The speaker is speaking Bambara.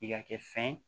I ka kɛ fɛn ye